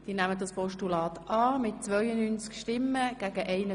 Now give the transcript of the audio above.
Sie haben dieses Postulat angenommen.